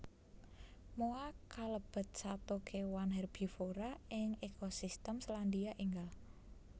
Moa kalebet sato kewan herbivora ing ekosistem Selandia Ènggal